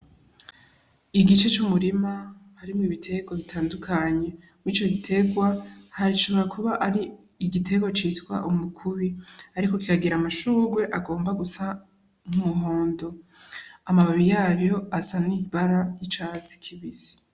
Igice c'umurima harimwo ibiterwa bitandukanye, ico giterwa gishobora kuba ari igiterwa citwa umukubi ariko kikagira amashugwe agomba gusa n'umuhondo, amababi y'ayo asa n'ibara ry'icatsi kibisi.